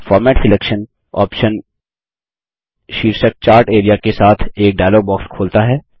format selection option शीर्षक chart A R E A के साथ एक डायलॉग बॉक्स खोलता है